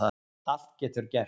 Allt getur gerst